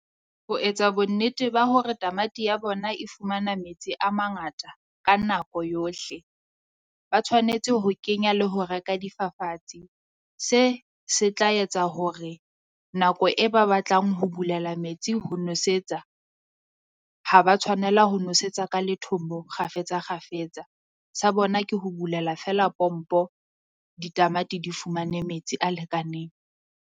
Ho etsa bonnete ba hore tamati ya bona e fumana metsi a mangata ka nako yohle. Ba tshwanetse ho kenya le ho reka difafatse. Se se tla etsa hore nako e ba batlang ho bulela metsi ho nosetsa, ha ba tshwanela ho nosetsa Ka lethombo kgafetsa kgafetsa. Sa bona ke ho bulela feela pompo ditamati di fumane metsi a lekaneng.